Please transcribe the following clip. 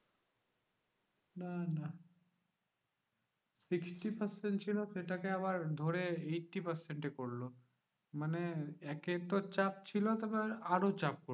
না না, sixty percent ছিল সেটাকে আবার ধরে eighty percent এ করলো। মানে একে তো চাপ ছিল তারপর আরও চাপ।